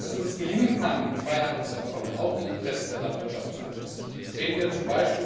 Dass es uns gelingen kann, in Freihandelsabkommen auch die Interessen der Landwirtschaft zu berücksichtigen, sehen wir